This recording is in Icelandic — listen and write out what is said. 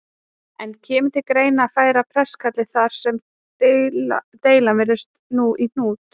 En kemur til greina að færa prestakallið þar sem deilan virðist nú í hnút?